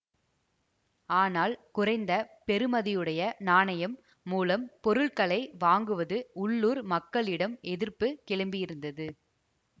ஆனால் குறைந்த பெறுமதியுடைய நாணயம் மூலம் பொருட்களை வாங்குவது உள்ளூர் மக்களிடம் எதிர்ப்பு கிளம்பியிருந்தது